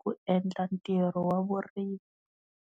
ku endla ntirho wa vurimi.